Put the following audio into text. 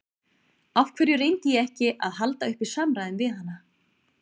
Af hverju reyndi ég ekki að halda uppi samræðum við hana?